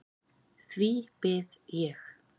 Því bið ég.